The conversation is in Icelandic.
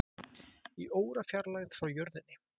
Í órafjarlægð frá jörðinni